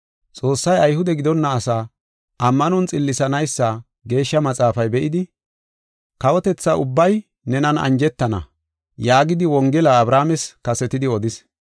Xoossay Ayhude gidonna asaa ammanon xillisanaysa Geeshsha Maxaafay be7idi, “Kawotetha ubbay nenan anjetana” yaagidi, Wongela Abrahaames kasetidi odis.